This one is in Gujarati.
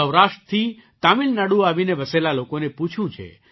સૌરાષ્ટ્રથી તમિલનાડુ આવીને વસેલા લોકોને પૂછ્યું છે